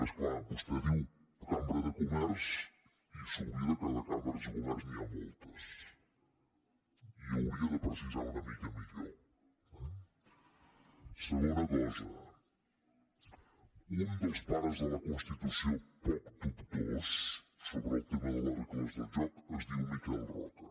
és clar vostè diu cambra de comerç i segur que de cambres de comerç n’hi ha moltes i hauria de precisar una mica millor eh segona cosa un dels pares de la constitució poc dubtós sobre el tema de les regles del joc es diu miquel roca